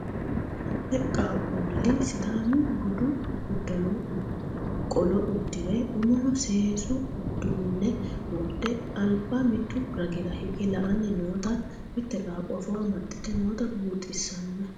Ame qaaqqulli sidaamu budu uddano qolo uddire umoho seesu uduunne wodhe alba mittu ragira hige la'anni noota mitte qaaqqo afoo amaxxite noota buuxissanno.